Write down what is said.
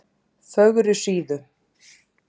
Fögrusíðu